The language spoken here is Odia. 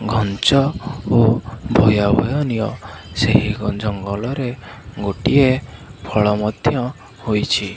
ଘଞ୍ଚ ଓ ଭୟାବହନୀୟ ସେହି ଜଙ୍ଗଲରେ ଗୋଟିଏ ଫଳ ମଧ୍ୟ ହୋଇଛି।